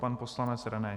Pan poslanec René